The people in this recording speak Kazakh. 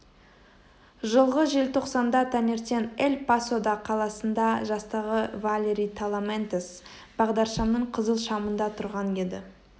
жылғы желтоқсанда таңертең эль пасода қаласында жастағы валери таламантес бағдаршамның қызыл шамында тұрған еді